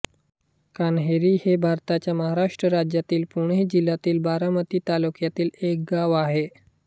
कान्हेरी हे भारताच्या महाराष्ट्र राज्यातील पुणे जिल्ह्यातील बारामती तालुक्यातील एक गाव आहे